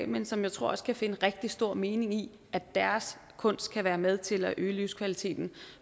men som jeg tror også kan finde rigtig stor mening i at deres kunst kan være med til at øge livskvaliteten